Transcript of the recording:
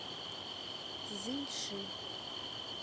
цзиньши